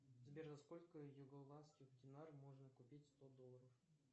сбер за сколько югославских динар можно купить сто долларов